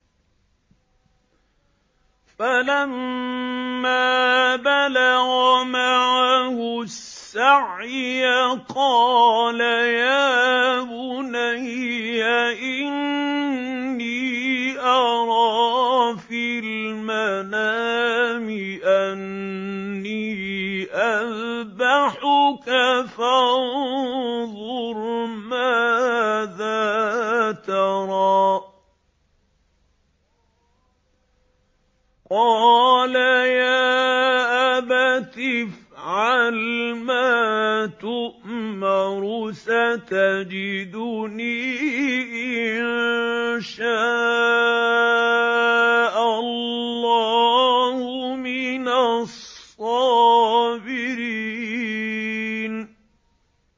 فَلَمَّا بَلَغَ مَعَهُ السَّعْيَ قَالَ يَا بُنَيَّ إِنِّي أَرَىٰ فِي الْمَنَامِ أَنِّي أَذْبَحُكَ فَانظُرْ مَاذَا تَرَىٰ ۚ قَالَ يَا أَبَتِ افْعَلْ مَا تُؤْمَرُ ۖ سَتَجِدُنِي إِن شَاءَ اللَّهُ مِنَ الصَّابِرِينَ